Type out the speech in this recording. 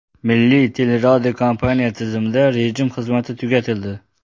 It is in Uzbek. Milliy teleradiokompaniya tizimida rejim xizmati tugatildi.